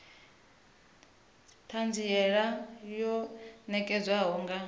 t hanziela yo nekedzwaho nga